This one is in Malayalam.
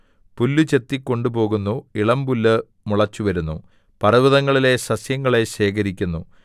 പുല്ല് ചെത്തി കൊണ്ടുപോകുന്നു ഇളമ്പുല്ല് മുളച്ചുവരുന്നു പർവ്വതങ്ങളിലെ സസ്യങ്ങളെ ശേഖരിക്കുന്നു